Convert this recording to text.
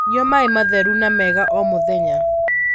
Nyua maĩ matheru na mega o mũthenya